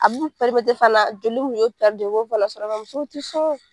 A b'u fana la joli mun be u b'o fana sɔrɔ. Nga musow te sɔn .